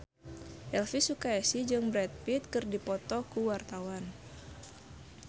Elvy Sukaesih jeung Brad Pitt keur dipoto ku wartawan